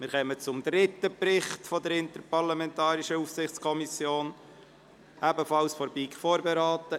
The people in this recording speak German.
Wir kommen zum dritten Bericht der Interparlamentarischen Aufsichtskommission, der ebenfalls von der BiK vorberaten wurde.